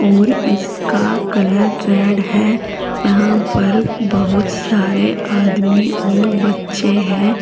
और इसका colour red है यहां पर बहुत सारे आदमी और बच्चे हैं।